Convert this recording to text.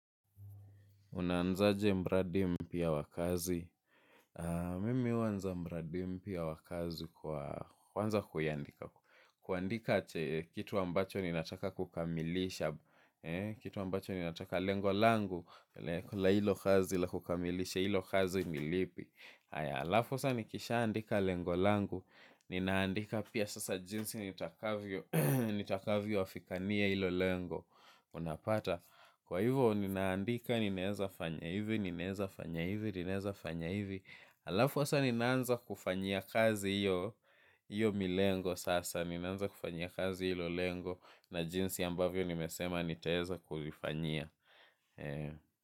Unaanzaje mradi mpya wa kazi. Mimi huanza mradi mpyaa wa kazi kwa kuanza kuiandika. Kuandika kitu ambacho ninataka kukamilisha. Kitu ambacho ninataka lengo langu. La hilo kazi la kukamilisha hilo kazi ni lipi. Haya alafu sa nikisha andika lengolangu. Ninaandika pia sasa jinsi nitakavyo afikania hilo lengo. Unapata. Kwa hivyo ninaandika ninaeza fanya hivi, ninaeza fanya hivi, ninaeza fanya hivi. Alafu asa ninaanza kufanyia kazi hiyo, hiyo milengo sasa ninaanza kufanyia kazi hilo lengo na jinsi ambavyo nimesema nitaeza kulifanyia.